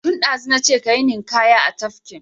Tun ɗazu na ce ka yi ninƙaya a tafkin!